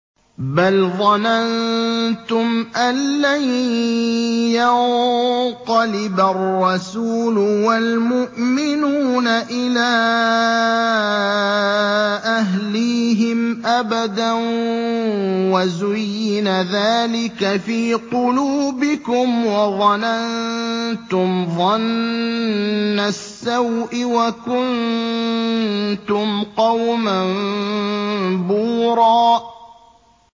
بَلْ ظَنَنتُمْ أَن لَّن يَنقَلِبَ الرَّسُولُ وَالْمُؤْمِنُونَ إِلَىٰ أَهْلِيهِمْ أَبَدًا وَزُيِّنَ ذَٰلِكَ فِي قُلُوبِكُمْ وَظَنَنتُمْ ظَنَّ السَّوْءِ وَكُنتُمْ قَوْمًا بُورًا